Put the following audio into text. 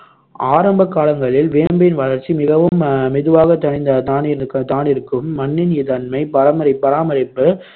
ஆரம்பக் காலங்களில் வேம்பின் வளர்ச்சி மிகவும் அஹ் மெதுவாகத் தனி தானிருக்கும் தானிருக்கும் மண்ணின் தன்மை பராமரிப்~ பராமரிப்பு